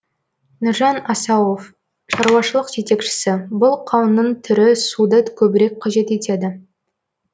нұржан асауов шаруашылық жетекшісі бұл қауынның түрі суды көбірек қажет етеді